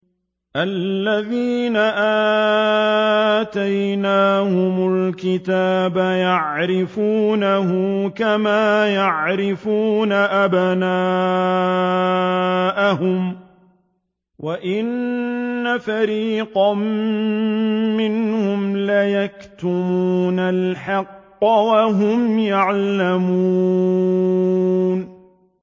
الَّذِينَ آتَيْنَاهُمُ الْكِتَابَ يَعْرِفُونَهُ كَمَا يَعْرِفُونَ أَبْنَاءَهُمْ ۖ وَإِنَّ فَرِيقًا مِّنْهُمْ لَيَكْتُمُونَ الْحَقَّ وَهُمْ يَعْلَمُونَ